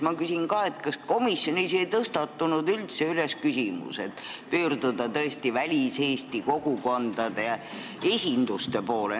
Ma küsin ka, kas komisjonis ei tõstatunud üldse ettepanek pöörduda väliseesti kogukondade esinduste poole.